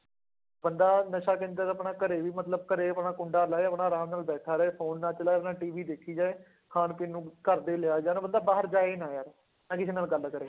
ਬੰਦਾ ਨਸ਼ਾ ਕੇਂਦਰ ਤਾਂ ਆਪਣਾ ਘਰੇ ਵੀ ਮਤਲਬ ਘਰੇ ਆਪਣਾ ਕੁੰਡਾ ਲਾਏ ਆਪਣਾ ਆਰਾਮ ਨਾਲ ਬੈਠਾ ਰਹੇ phone ਨਾ ਚਲਾਏ ਆਪਣਾ TV ਦੇਖੀ ਜਾਏ, ਖਾਣ ਪੀਣ ਨੂੰ ਘਰਦੇ ਹੀ ਲਿਆਈ ਜਾਣ ਬੰਦਾ ਬਾਹਰ ਜਾਏ ਹੀ ਨਾ ਯਾਰ, ਨਾ ਕਿਸੇ ਨਾਲ ਗੱਲ ਕਰੇ।